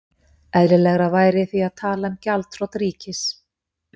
Eðlilegra væri því að tala um gjaldþrot ríkis.